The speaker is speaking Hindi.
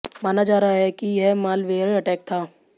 माना जा रहा है कि यह मालवेयर अटैक था